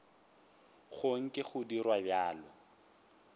go nke go dirwa bjalo